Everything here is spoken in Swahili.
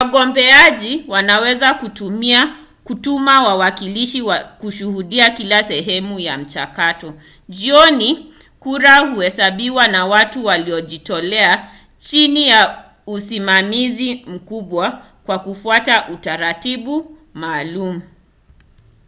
wagombeaji wanaweza kutuma wawakilishi kushuhudia kila sehemu ya mchakato. jioni kura huhesabiwa na watu waliojitolea chini ya usimamizi mkubwa kwa kufuata utaratibu maalum